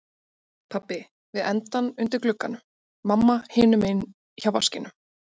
Pabbi við endann undir glugganum, mamma hinum megin hjá vaskinum.